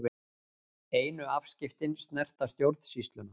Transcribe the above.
Einu afskiptin snerta stjórnsýsluna